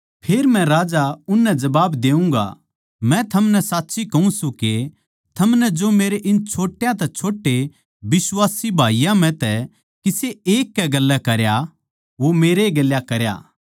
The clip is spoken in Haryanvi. फेर मै राजा उननै जबाब देऊँगा मै थमनै साच्ची कहूँ सूं के थमनै जो मेरे इन छोट्या तै छोट्टे बिश्वासी भाईयाँ म्ह तै किसे एक कै गेल्या करया वो मेरै ए गेल्या करया